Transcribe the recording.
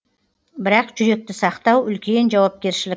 бірақ жүректі сақтау үлкен жауапкершілік